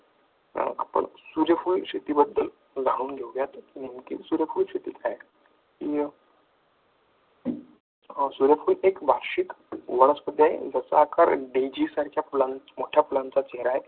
आपण सूर्यफूल शेती बद्दल पाहून घेऊयात की सूर्यफूल शेतीत काय आहे सूर्यफूल एक वार्षिक वनस्पती आहे जसे डीजे सारख्या मोठ्या फुलांचा चेहरा आहे